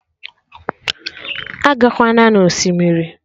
Agakwana na Osimiri!